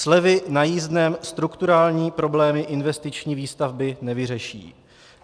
Slevy na jízdném strukturální problémy investiční výstavby nevyřeší.